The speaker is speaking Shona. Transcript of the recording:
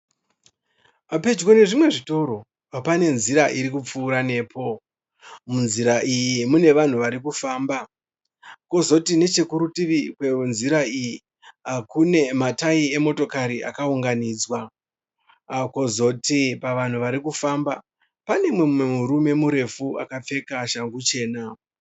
Pedyo nezvimwe zvitoro pane nzira irikupfuura nepo. Munzira iyi mune vanhu varikufamba kozoti nechekurutivi kwenzira iyi kune matayi emotokari akaunganidzwa. Kozoti pavanhu varikufamba pane mumwe murume akapfeka shangu chena.